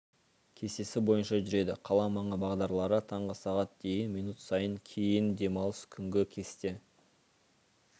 кестесі бойынша жүреді қала маңы бағдарлары таңғы сағат дейін минут сайын кейін демалыс күнгі кесте